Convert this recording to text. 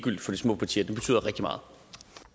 olesen i kritikken